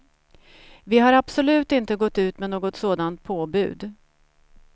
Vi har absolut inte gått ut med något sådant påbud.